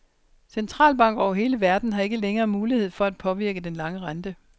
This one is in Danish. Centralbanker over hele verden har ikke længere mulighed for at påvirke den lange rente.